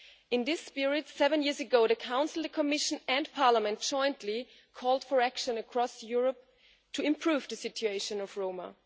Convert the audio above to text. In this spirit, seven years ago, the Council, the Commission and Parliament jointly called for action across Europe to improve the situation of Roma.